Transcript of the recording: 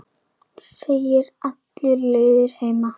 Þegir alla leiðina heim.